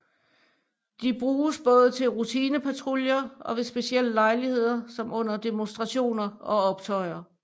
De bruges både til rutinepatruljer og ved specielle lejligheder som under demonstrationer og optøjer